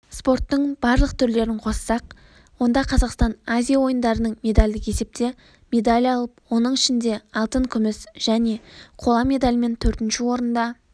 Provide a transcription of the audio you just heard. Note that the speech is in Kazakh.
спорттың барлық түрлерін қоссақ онда қазақстан азия ойындарының медальдік есепте медаль алып оның ішінде алтын күміс және қола медальмен төртінші орында